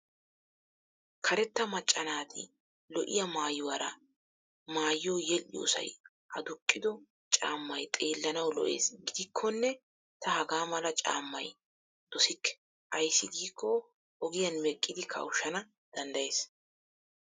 Karetta macca naati lo'iya maayuwaara maayiyo yedhdhiyoosay aduqqido caammay xeellanawu lo'es. Gidikkonne ta hagaa mala caammay dosikke ayssi giikko ogiyan meqqidi kawushshana danddayes.